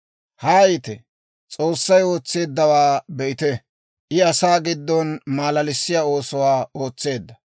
Haayite; S'oossay ootseeddawaa be'ite; I asaa giddon maalalissiyaa oosuwaa ootseedda.